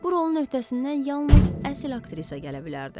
Bu rolun öhdəsindən yalnız əsl aktrisa gələ bilərdi.